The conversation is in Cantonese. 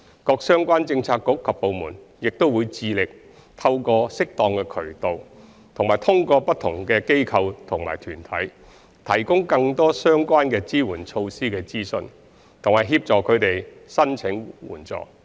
各相關政策局及部門亦會致力透過適當渠道及通過不同的機構及團體，提供更多相關的支援措施的資訊，以及協助他們申請援助。